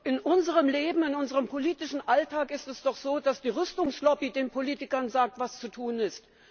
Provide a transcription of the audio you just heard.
In unserem Leben, in unserem politischen Alltag, ist es doch so, dass die Rüstungslobby den Politikern sagt, was zu tun ist.